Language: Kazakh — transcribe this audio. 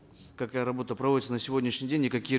какая работа проводится на сегодняшний день и какие